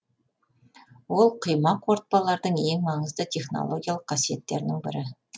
ол құйма қорытпалардың ең маңызды технологиялық қасиеттерінің бірі